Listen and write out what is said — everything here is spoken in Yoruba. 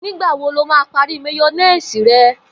Nĩgbà wo lo máa parí máyó̩néèsì re̩?